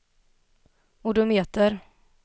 odometer